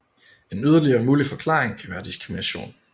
En yderligere mulig forklaring kan være diskrimination